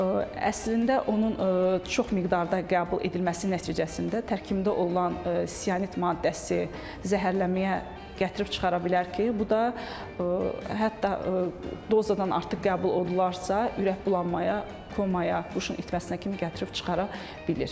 Əslində onun çox miqdarda qəbul edilməsi nəticəsində tərkibində olan sit maddəsi zəhərlənməyə gətirib çıxara bilər ki, bu da hətta dozadan artıq qəbul olundularsa, ürək bulanmaya, komaya, şurun itməsinə kimi gətirib çıxara bilir.